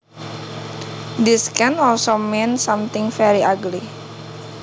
This can also mean something very ugly